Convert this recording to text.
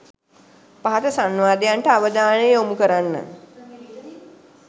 පහත සංවාදයන්ට අවධානය යොමු කරන්න.